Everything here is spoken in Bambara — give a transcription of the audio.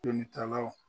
Jolitalaw